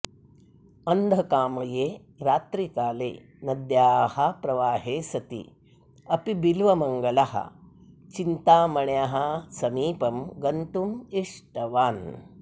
अन्धकामये रात्रिकाले नद्याः प्रवाहे सति अपि बिल्वमङ्गलः चिन्तामण्याः समीपं गन्तुम् इष्टवान्